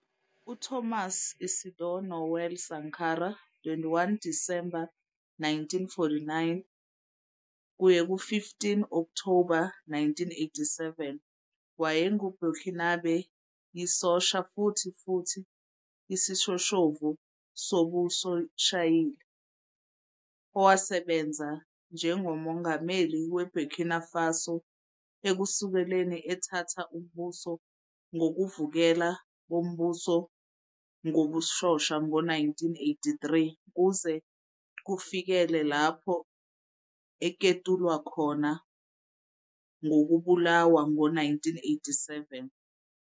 UThomas Isidore Noël Sankara, 21 December 1949 - 15 Okthoba 1987, wayengu Burkinabé yisosha futhi futhi isishoshovu sobusoshiyali, owasebenza njengoMongameli weBurkina Faso, ukusukela ethatha umbuso ngobuvukela bombuso ngobusosha ngo-1983 kuze kufikele lapho aketulwa khona ngokubulawa ngo-1987.